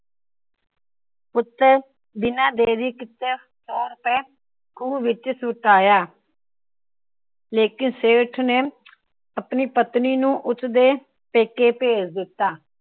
ਪੁੱਤਰ ਬਿਨਾ ਦੇਰੀ ਕੀਤੀਆਂ ਸੋ ਰੁਪਇਆ ਖੂ ਵਿੱਚ ਸੁੱਟ ਆਇਆ। ਲੇਕਿਨ ਸੇਠ ਨੇ ਆਪਣੀ ਪਤਨੀ ਨੂੰ ਉਸਦੇ ਪੇਕੇ ਭੇਜ ਦਿੱਤਾ।